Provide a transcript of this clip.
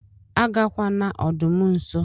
Agakwana ọdụm nso!!